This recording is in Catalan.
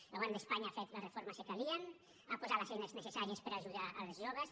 el govern d’espanya ha fet les reformes que calien ha posat les eines necessàries per a ajudar els joves